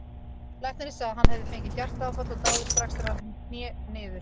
Læknirinn segði að hann hefði fengið hjartaáfall og dáið strax þegar hann hné niður.